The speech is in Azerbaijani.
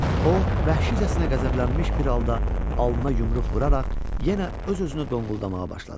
O, vəhşicəsinə qəzəblənmiş bir halda alnına yumruq vuraraq yenə öz-özünü donquldamağa başladı.